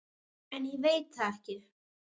En ég veit það ekki.